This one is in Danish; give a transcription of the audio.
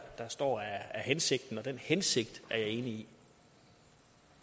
står er hensigten og den hensigt er jeg enig